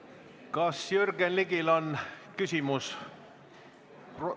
Kas Jürgen Ligil on küsimus?